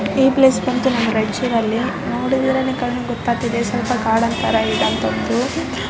ಈ ಪ್ಲೇಸ್ ಬಂದು ನಮ್ಮ ರಾಯ್ ಚೂರಲ್ಲಿ ನೋಡಿದ್ರೆ ಗೊತ್ತಾಗ್ತದೆ ಸ್ವಲ್ಪ ಗಾರ್ಡನ್ ತರ ಇರುವಂತದ್ದು .